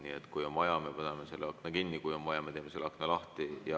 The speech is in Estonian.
Nii et kui on vaja, me võime selle akna kinni panna, kui on vaja, me teeme akna lahti.